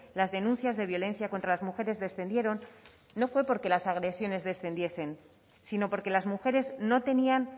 las denuncias de violencia contra las mujeres descendieron no fue porque las agresiones descendiesen sino porque las mujeres no tenían